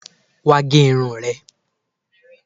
Wá gẹ irun rẹ